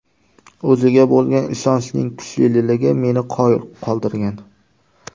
O‘ziga bo‘lgan ishonchning kuchliligi meni qoyil qoldirgan.